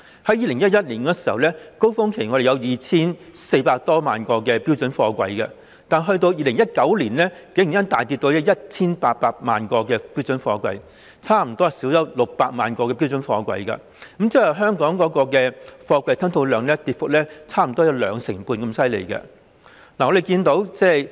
在2011年，香港在高峰期有 2,400 多萬個標準貨櫃；及至2019年，竟然大跌至 1,800 萬個，差不多少了600萬個，即是說香港的貨櫃吞吐量跌幅差不多有兩成半。